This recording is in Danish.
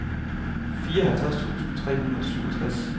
fireoghalvtreds tusind tre hundrede og syvogtres